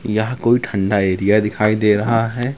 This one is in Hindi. यहां कोई ठंडा एरिया दिखाई दे रहा है।